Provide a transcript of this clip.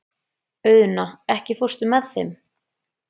Auðna, ekki fórstu með þeim?